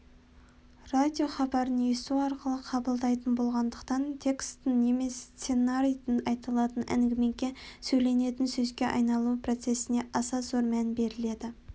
радиохабарын есту арқылы қабылдайтын болғандықтан текстің немесе сценарийдің айтылатын әңгімеге сөйленетін сөзге айналу процесіне аса зор мән беріледі